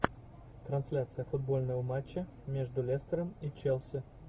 трансляция футбольного матча между лестером и челси